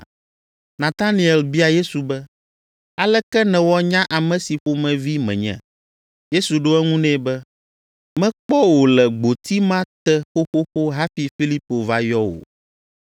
Nataniel bia Yesu be, “Aleke nèwɔ nya ame si ƒomevi menye?” Yesu ɖo eŋu nɛ be, “Mekpɔ wò le gboti ma te xoxoxo hafi Filipo va yɔ wò.”